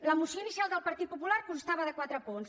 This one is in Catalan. la moció inicial del partit popular constava de quatre punts